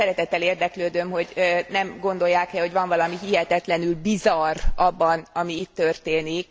Szeretettel érdeklődöm, hogy nem gondolják e, hogy van valami hihetetlenül bizarr abban, ami itt történik?